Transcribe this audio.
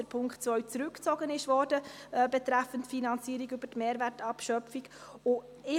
Ich bin aber auch froh, dass der Punkt 2 betreffend die Finanzierung über die Mehrwertabschöpfung zurückgezogen wurde.